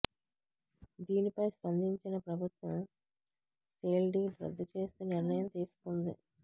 దీనిపై స్పందించిన ప్రభుత్వం సేల్ డీడ్ రద్దు చేస్తూ నిర్ణయం తీసుకుంది